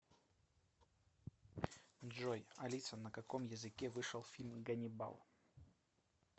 джой алиса на каком языке вышел фильм ганнибал